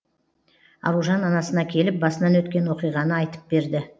аружан анасына келіп басынан өткен оқиғаны айтып берді